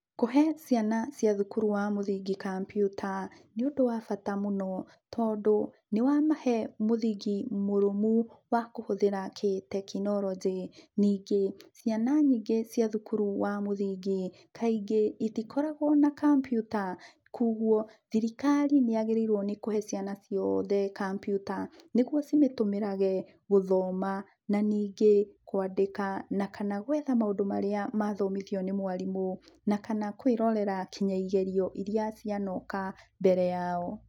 Kũhe ciana cia thukuru wa mũthingi kambiuta, nĩũndũwa bata mũno, tondũ nĩwamahe mũthingi mũrũmu wa kũhũthĩra tekinoronjĩ. Ningĩ, ciana nyingĩ cia thukuru wa mũthingi, kaingĩ itikoragwo na kambiuta, koguo, thirikari nĩyagĩrĩirwo nĩkũhe ciana ciothe kambiuta, nĩguo cimĩtũmĩrage gũthoma, na ningĩ kwandĩka na kana gwetha maũndũ marĩa mathomithio nĩ mwarimũ, na kana kwĩrorera nginya igerio iria cianoka mbere yao.